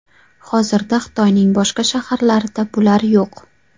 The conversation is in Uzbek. Hozirda Xitoyning boshqa shaharlarda bular yo‘q.